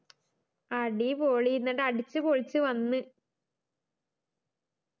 അടിപൊളി ന്നിട്ട് അടിച്ചുപൊളിച്ഛ് വന്ന്